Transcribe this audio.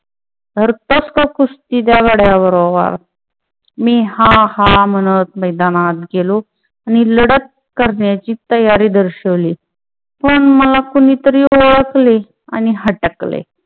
धरतोस का कुस्ती त्या गळ्याबरोबर मी हा हा म्हणत मैदानात गेलो. मी लढत करण्याची तयारी दर्शवली पण मला कोणीतरी ओळखले आणि हटकले.